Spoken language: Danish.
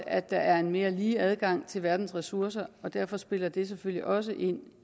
at der er en mere lige adgang til verdens ressourcer og derfor spiller det selvfølgelig også ind